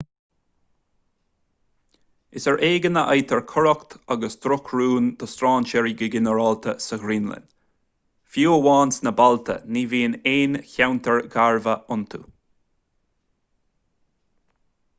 is ar éigean a fhaightear coireacht agus drochrún do strainséirí go ginearálta sa ghraonlainn fiú amháin sna bailte ní bhíonn aon cheantair gharbha iontu